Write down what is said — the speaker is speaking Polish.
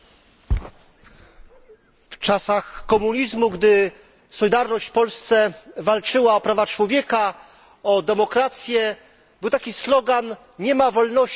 W czasach komunizmu, gdy Solidarność w Polsce walczyła o prawa człowieka i demokrację powszechny był slogan Nie ma wolności bez Solidarności.